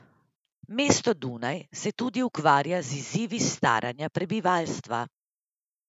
Mesto Dunaj se tudi ukvarja z izzivi staranja prebivalstva.